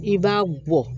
I b'a bɔ